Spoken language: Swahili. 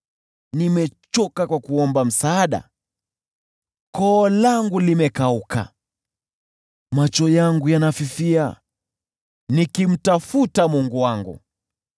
Nimechoka kwa kuomba msaada, koo langu limekauka. Macho yangu yanafifia, nikimtafuta Mungu wangu.